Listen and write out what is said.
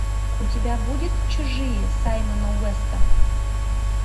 у тебя будет чужие саймона уэста